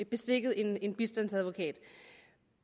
beskikket en bistandsadvokat